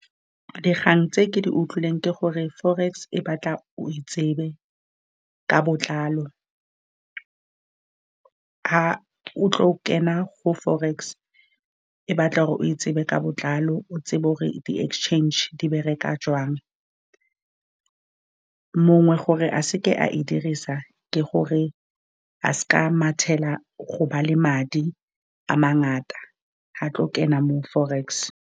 Dikgang tse ke di utlwileng ke gore forex e batla o e tsebe ka botlalo, fa o tla go kena go forex, e batla gore o e tsebe ka botlalo, o tsebe gore di-exchange di bereka jwang. Mongwe gore a se ke a e dirisa, ke gore a se ke a mathela go ba le madi a mangata, a tlo kena mo forex.